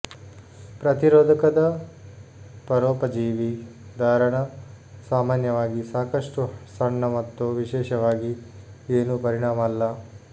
ಪ್ರತಿರೋಧಕದ ಪರೋಪಜೀವಿ ಧಾರಣ ಸಾಮಾನ್ಯವಾಗಿ ಸಾಕಷ್ಟು ಸಣ್ಣ ಮತ್ತು ವಿಶೇಷವಾಗಿ ಏನು ಪರಿಣಾಮ ಅಲ್ಲ